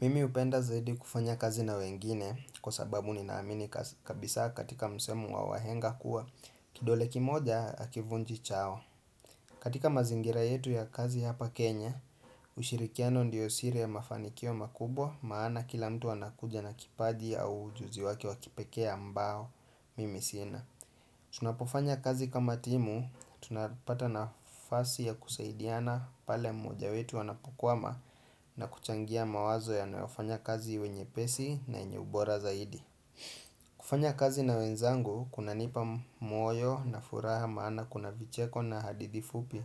Mimi upenda zaidi kufanya kazi na wengine kwa sababu ni naamini kabisa katika msemo wa wahenga kuwa kidole kimoja akivunji chao katika mazingira yetu ya kazi hapa kenya ushirikiano ndiyo siri ya mafanikio makubwa maana kila mtu anakuja na kipaji au ujuzi wake wakipekee ambao mimi sina Tunapofanya kazi kama timu, tunapata na fasi ya kusaidiana pale mmoja wetu anapokwama na kuchangia mawazo ya nayofanya kazi iwe nye pesi na yenye ubora zaidi kufanya kazi na wenzangu, kuna nipa moyo na furaha maana kuna vicheko na andithi fupi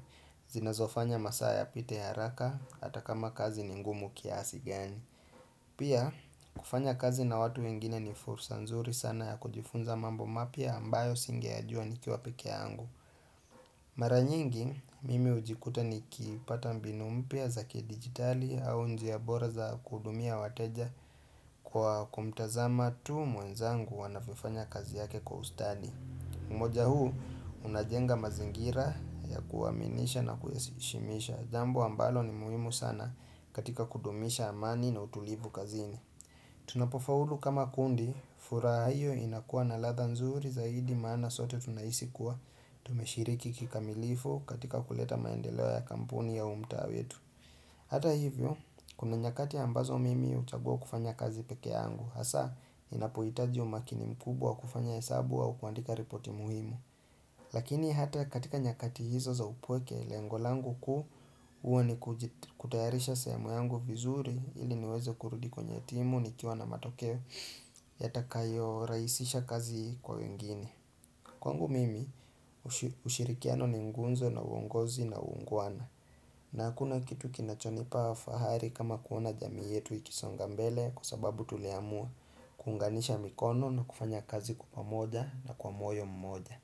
zinazofanya masaa ya pite haraka hata kama kazi ningumu kiasi gani Pia, kufanya kazi na watu wengine ni fursa nzuri sana ya kujifunza mambo mapya ambayo singe ya jua nikiwa peke ya angu. Maranyingi, mimi ujikuta ni kipata mbinu mpya za ki digitali au njia bora za kuudumia wateja kwa kumtazama tu mwenzangu anavyofanya kazi yake kwa ustadi. Umoja huu, unajenga mazingira ya kuwaaminisha na kuyashimisha. Jambo ambalo ni muhimu sana katika kudumisha amani na utulivu kazini. Tunapofaulu kama kundi, furaha iyo inakuwa na ladha nzuri zaidi maana sote tunahisi kuwa Tumeshiriki kikamilifu katika kuleta maendeleo ya kampuni ya huu mtaa wetu Hata hivyo, kuna nyakati ambazo mimi uchagua kufanya kazi peke yangu Hasa, inapoitaji umakini mkubwa wa kufanya hesabu kuandika ripoti muhimu Lakini hata katika nyakati hizo za upweke, lengolangu kuu huwa ni kutayarisha sehemu yangu vizuri Hili niwezo kurudi kwenye timu nikiwa na matokeo yata kayo raisisha kazi kwa wengine Kwangu mimi ushirikiano ni ngunzo na uongozi na uungwana na kuna kitu kinachonipa fahari kama kuona jamii yetu ikisonga mbele Kwa sababu tuliamua kuunganisha mikono na kufanya kazi kwa pamoja na kwa moyo mmoja.